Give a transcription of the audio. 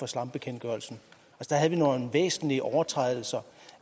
slambekendtgørelsen der havde vi nogle væsentlige overtrædelser